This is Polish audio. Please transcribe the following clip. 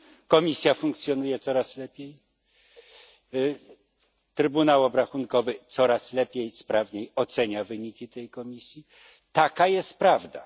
Komisja funkcjonuje coraz lepiej, Trybunał Obrachunkowy coraz lepiej, sprawniej ocenia wyniki tej Komisji taka jest prawda.